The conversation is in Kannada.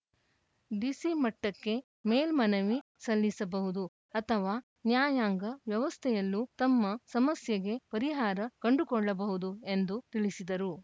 ಡಿಸಿ ಮಟ್ಟಕ್ಕೆ ಮೇಲ್ಮನವಿ ಸಲ್ಲಿಸಬಹುದು ಅಥವಾ ನ್ಯಾಯಾಂಗ ವ್ಯವಸ್ಥೆಯಲ್ಲೂ ತಮ್ಮ ಸಮಸ್ಯೆಗೆ ಪರಿಹಾರ ಕಂಡುಕೊಳ್ಳಬಹುದು ಎಂದು ತಿಳಿಸಿದರು